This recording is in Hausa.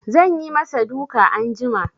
Zan yi ma sa duka anjima